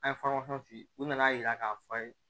An ye f'i ye u nana yira k'a fɔ a ye